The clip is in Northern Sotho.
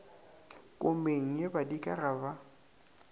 komeng ye badika ga ba